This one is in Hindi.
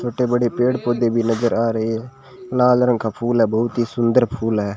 छोटे बड़े पेड़ पौधे भी नजर आ रहे हैं लाल रंग का फूल है बहुत ही सुंदर फूल है।